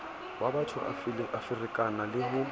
wabatho a ferekana le ho